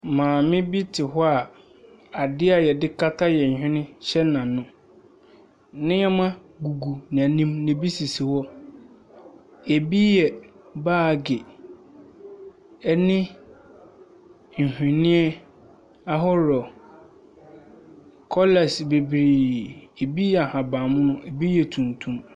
Maame bi te hɔ a adeɛ a yɛde kata yɛn hwene, hyɛ n'ano. Nneɛma gugu n'anim. Na ebi sisi hɔ. Ebi yɛ baagi ɛne nhwenneɛ ahorow. Kɔlas bebree, ebi yɛ ahabanmono, ebi yɛ tuntum.